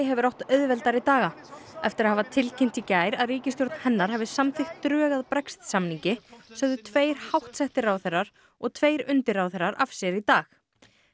hefur átt auðveldari daga eftir að hafa tilkynnt í gær að ríkisstjórn hennar hafi samþykkt drög að Brexit samningi sögðu tveir háttsettir ráðherrar og tveir undirráðherrar af sér í dag